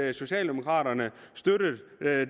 det socialdemokraterne støttede